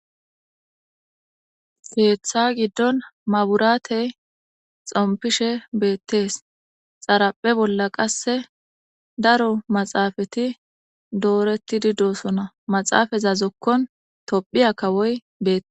heeththa giddon maburaate xompishe beettes xaraphe bolla qasse daro maxaafati dooreti di dosona maxaafazazokkon tophiya kawoy bette